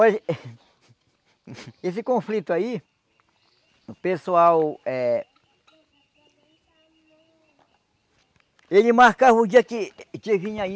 Olha... Esse conflito aí... O pessoal eh... Ele marcava o dia que que vinha aí...